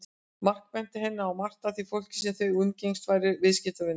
Mark benti henni á að margt af því fólki sem þau umgengjust væru viðskiptavinir hans.